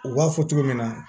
U b'a fɔ cogo min na